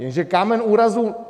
Jenže kámen úrazu...